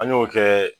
An y'o kɛ